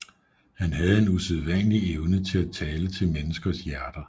Han havde en usædvanlig evne til at tale til menneskers hjerter